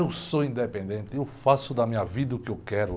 Eu sou independente, eu faço da minha vida o que eu quero.